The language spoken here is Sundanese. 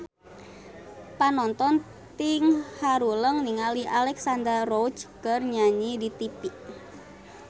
Panonton ting haruleng ningali Alexandra Roach keur nyanyi di tipi